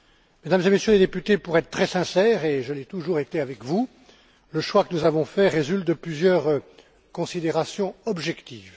Mesdames et Messieurs les députés, pour être très sincère, et je l'ai toujours été avec vous, le choix que nous avons fait résulte de plusieurs considérations objectives.